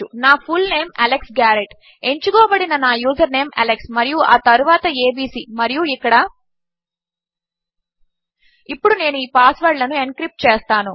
నాfullname Alex Garrett ఎంచుకోబడిననా username Alex మరియుఆతరువాత ABC మరియుఇక్కడ ఇప్పుడునేనుఈపాస్వర్డ్లనుఎన్క్రిప్ట్చేస్తాను